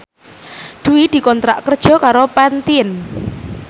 Dwi dikontrak kerja karo Pantene